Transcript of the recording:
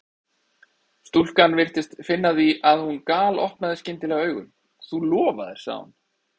Stúlkan virtist finna það því að hún galopnaði skyndilega augun: Þú lofaðir sagði hún.